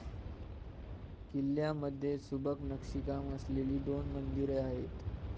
किल्ल्यामधे सुबक नक्षीकाम असलेली दोन मंदिरे आहेत.